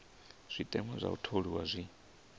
zwiteṅwa zwa u tholiwa zwi